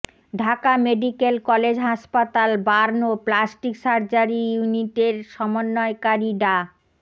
Dhaka medical college হাসপাতাল burn ও plastic surgery ইউনিটের সমন্বয়কারি ডা